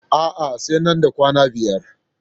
A'a, sai nan da kwana biyar.